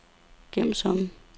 gem som